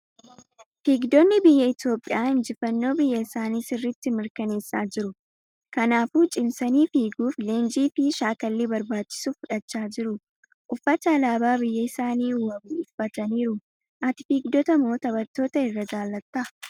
Fiigdonni biyya Itoophiyaa injifannoo biyya isaanii sirriitti mirkaneessaa jiru. Kanaafuu cimsanii fiiguuf leenjii fi shaakallii barbaachisu fudhachaa jiru. Uffata alaabaa biyya isaanii wabu uffataniiru. Ati fiigdota moo taphattoota irra jaalatta?